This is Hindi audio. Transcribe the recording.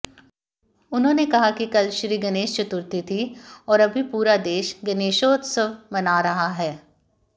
उन्होंने कहा कि कल श्रीगणेश चतुर्थी थी और अभी पूरा देश गणेशोत्सव मना रहा है